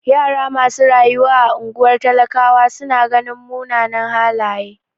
Yara masu rayuwa a ungwar talakawa su na ganin mumunan halaye.